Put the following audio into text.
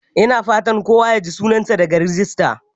Ina fatan kowa ya ji sunansa daga rajista?